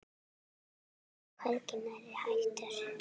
Ragnar er hvergi nærri hættur.